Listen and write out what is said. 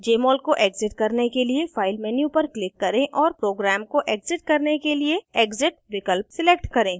jmol को exit करने के लिए file menu पर click करें और program को exit करने के लिए exit विकल्प select करें